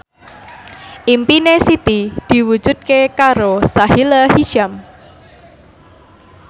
impine Siti diwujudke karo Sahila Hisyam